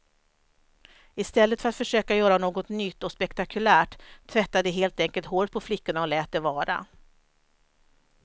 I stället för att försöka göra något nytt och spektakulärt, tvättade de helt enkelt håret på flickorna och lät det vara.